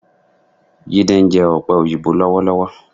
Jídé ń jẹ ọ̀pẹ òyìnbó lọ́wọ́lọ́wọ́.